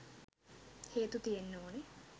හේතු තියෙන්න ඕනෙ.